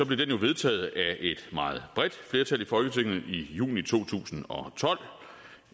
blev den jo vedtaget af et meget bredt flertal i juni to tusind og tolv